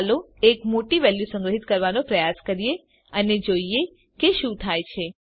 ચાલો એક મોટી વેલ્યુ સંગ્રહીત કરવાનો પ્રયાસ કરીએ અને જોઈએ કે શું થાય છે